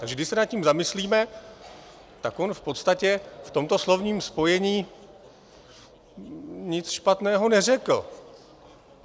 Takže když se nad tím zamyslíme, tak on v podstatě v tomto slovním spojení nic špatného neřekl.